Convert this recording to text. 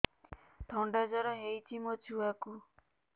ଥଣ୍ଡା ଜର ହେଇଚି ମୋ ଛୁଆକୁ